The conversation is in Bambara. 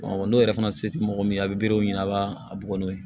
n'o yɛrɛ fana se tɛ mɔgɔ min ye a bɛ berew ɲɛna a b'a a bugɔ n'o ye